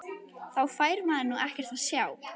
Þá fær maður nú ekkert að sjá!!